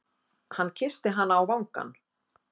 Hann kyssti hana á vangann.